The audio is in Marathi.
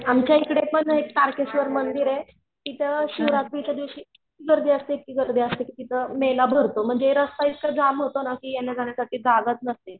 आमच्या एकडेपण एक तारकेश्वर मंदिरे तिथं शिवरात्रीच्या दिवशी इतकी गर्दी असते इतकी गर्दी असते कि तिथं मेळा भरतो म्हणजे रास्ता इतका जाम होतो ना कि येण्याजाण्यासाठी जागाच नसते.